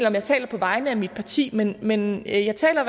om jeg taler på vegne af mit parti men men jeg taler